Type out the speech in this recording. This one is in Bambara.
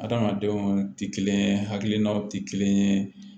Adamadenw tɛ kelen ye hakilinaw tɛ kelen ye